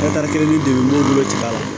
kelen ni de b'u bolo ci a la